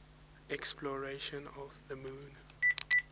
exploration of the moon